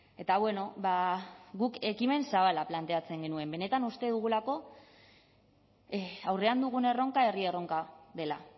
eta bueno guk ekimen zabala planteatzen genuen benetan uste dugulako aurrean dugun erronka herri erronka dela